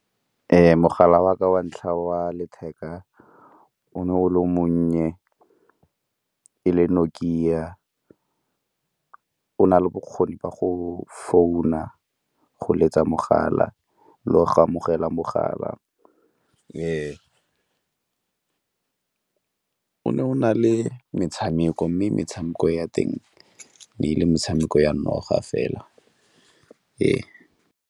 Mogala wa ka wa ntlha wa letheka o ne o le monnye e le Nokia, o na le bokgoni ba go founa, go letsa mogala le go amogela mogala. O ne o na le metshameko mme metshameko ya teng e ne e le metshameko ya noga fela.